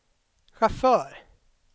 chaufför